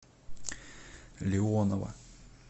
леонова